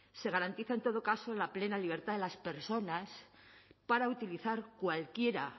se garantiza en todo caso la plena libertad de las personas para utilizar cualquiera